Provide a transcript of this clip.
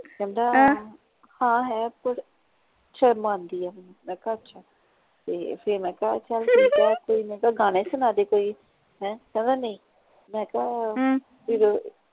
ਕਹਿੰਦਾ ਹਾਂ ਹੈ ਪਰ ਸ਼ਰਮ ਆਂਦੀ ਆ ਮੈਨੂੰ ਮੈਂ ਕਿਹਾ ਅੱਛਾ ਤੇ ਫੇਰ ਮੈਂ ਕਿਹਾ ਚੱਲ ਠੀਕ ਆ ਤੇ ਮੈਂ ਕਿਹਾ ਗਾਣਾ ਹੀ ਸੁਣਾ ਦੇ ਕੋਈ ਹੈਂ ਕਹਿੰਦਾ ਨਹੀਂ ਮੈਂ ਕਿਹਾ ਫਿਰ